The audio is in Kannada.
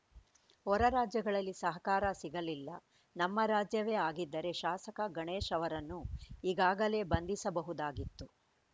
ಹೊರ ರಾಜ್ಯಗಳಲ್ಲಿ ಸಹಕಾರ ಸಿಗಲಿಲ್ಲ ನಮ್ಮ ರಾಜ್ಯವೇ ಆಗಿದ್ದರೆ ಶಾಸಕ ಗಣೇಶ್‌ ಅವರನ್ನು ಈಗಾಗಲೇ ಬಂಧಿಸಬಹುದಾಗಿತ್ತು